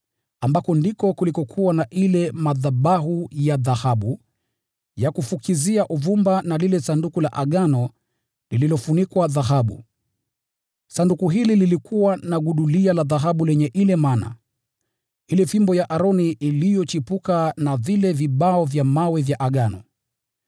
ambapo palikuwa na yale madhabahu ya dhahabu ya kufukizia uvumba, na lile Sanduku la Agano lililofunikwa kwa dhahabu. Sanduku hili lilikuwa na gudulia la dhahabu lenye mana, ile fimbo ya Aroni iliyochipuka, na vile vibao vya mawe vya Agano.